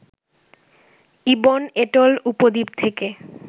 ibn atoll উপদ্বীপ থেকে